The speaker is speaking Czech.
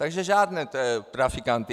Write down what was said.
Takže žádné trafikanty.